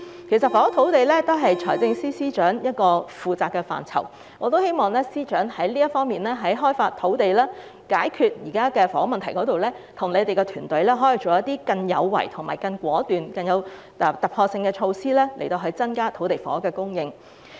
其實，房屋土地也是財政司司長負責的範疇，我希望司長在開發土地及解決房屋問題時，可以與團體探討一些更果斷有為、更具突破性的措施，以增加土地房屋的供應量。